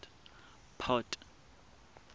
port